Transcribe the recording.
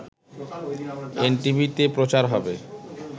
এনটিভিতে প্রচার হবে